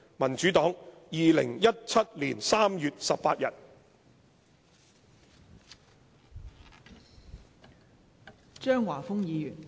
民主黨2017年3月18日。